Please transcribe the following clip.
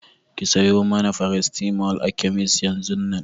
Ki sayo mana farasitamol a kemis yanzun nan!